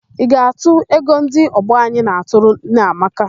Ị ga-atụ ego ndị ọgbọ anyị na-atụrụ Nneamaka?